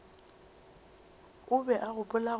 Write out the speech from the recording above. o be a gopola gore